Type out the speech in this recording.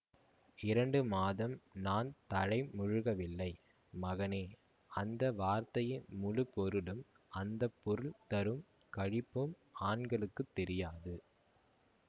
இரண்டு மாதம் நான் தலைமுழுகவில்லை மகனே அந்த வார்த்தையின் முழுப்பொருளும் அந்த பொருள் தரும் களிப்பும் ஆண்களுக்குத் தெரியாது